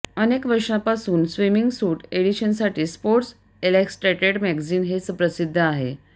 अनेक वर्षांपासून swimming suit एडिशनसाठी स्पोर्ट्स इलॅस्ट्रेडेट मॅगझिन हे प्रसिद्ध आहे